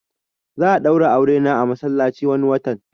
Za'a daura aure na a masallaci wani watan